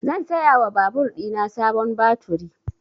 Zan saya wa babur ɗina sabon baturi